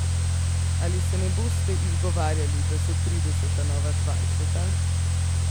Ali se boste izgovarjali, da so trideseta nova dvajseta?